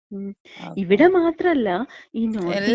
മ്, ഇവിടെ മാത്രല്ല, ഈ നോർത്തിന്ത്യ,